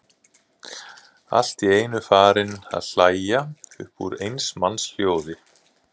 Allt í einu farinn að hlæja upp úr eins manns hljóði.